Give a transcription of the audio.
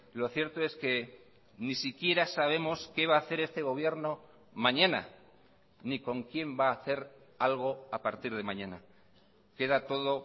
lo cierto es que ni siquiera sabemos qué va a hacer este gobierno mañana ni con quién va a hacer algo a partir de mañana queda todo